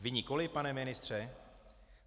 Vy nikoliv, pane ministře?